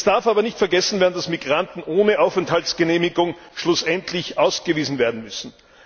Es darf aber nicht vergessen werden, dass Migranten ohne Aufenthaltsgenehmigung schlussendlich ausgewiesen werden müssen.